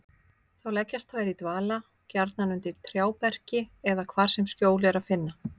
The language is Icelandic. Þá leggjast þær í dvala, gjarnan undir trjáberki eða hvar sem skjól er að finna.